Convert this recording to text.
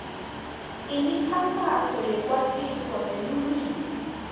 imikhankhaso yekwatisa ngeluwimi